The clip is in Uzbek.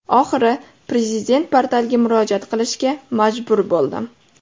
Oxiri Prezident portaliga murojaat qilishga majbur bo‘ldim.